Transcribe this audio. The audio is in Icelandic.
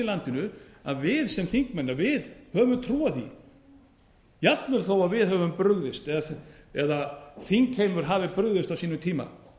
landinu að við sem þingmenn að við höfum trú á því jafnvel þó að við höfum brugðist eða þingheimur hafi brugðist á sínum tíma